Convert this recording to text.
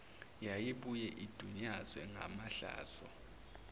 yayibuye idunyazwe ngamahlazo